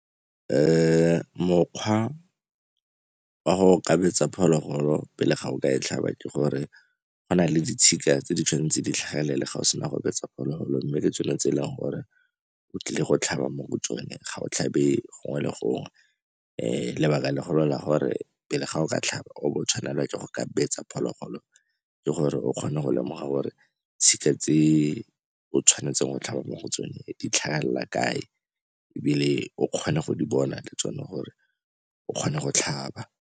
Mokgwa wa go kgabetsa phologolo pele ga o ka e tlhaba ke gore go na le ditshika tse di tshwanetseng di tlhagelele ga o sena go betsa phologolo, mme ke tsone tse e leng gore o tlile go tlhaba mo go tsone, ga o tlhabe gongwe le gongwe. Lebaka legolo la gore pele ga o ka tlhaba o bo o tshwanelwa ke go ka betsa phologolo ke gore o kgone go lemoga gore tshika tse o tshwanetseng go tlhaba mo go tsone di tlhagelela kae, ebile o kgone go di bona le tsone gore o kgone go tlhaba.